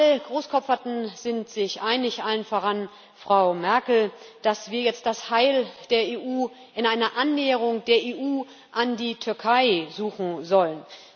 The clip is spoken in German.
Alle Großkopferten sind sich einig allen voran Frau Merkel dass wir jetzt das Heil der EU in einer Annäherung der EU an die Türkei suchen sollen.